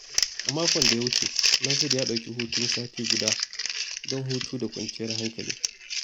A makon da ya wuce, Nasiru ya dauki hutun sati guda don hutu da kwanciyar hankali.